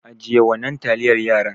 Ajiye wannan taliyar yaran.